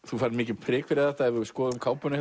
þú færð mikið prik fyrir þetta ef við skoðum kápuna